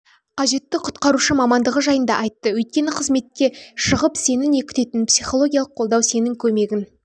қажетті құтқарушы мамандығы жайында айтты өйткені қызметке шығып сені не күтетінің психологиялық қолдау сенің көмегін